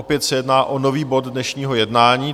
Opět se jedná o nový bod dnešního jednání.